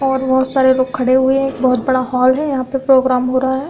और बहुत सारे लोग खड़े हुए हैं। एक बहुत बड़ा हाल है। यहां पर प्रोग्राम हो रहा है।